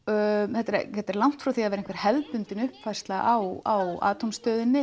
þetta er þetta er langt frá því að vera hefðbundin uppfærsla á